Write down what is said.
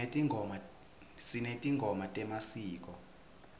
sinetingoma temasiko